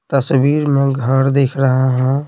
तस्वीर में घर दिख रहा है।